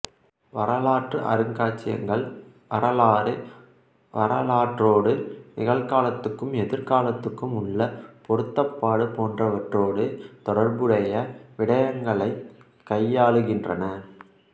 வரலாற்று அருங்காட்சியகங்கள் வரலாறு வரலாற்றோடு நிகழ்காலத்துக்கும் எதிர்காலத்துக்கும் உள்ள பொருத்தப்பாடு போன்றவற்றோடு தொடர்புடைய விடயங்களைக் கையாளுகின்றன